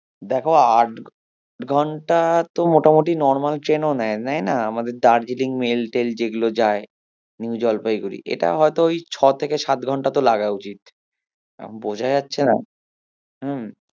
দেখো আট ঘন্টা তো মোটামুটি normal train ও নেয়, নেয়না? আমাদের দার্জিলিং মেল টেল যেগুলো যায় নিউ জলপাইগুড়ি, এটা হয়তো ছ থেকে সাত ঘন্টা তো লাগা উচিত আহ বোঝা যাচ্ছে না হম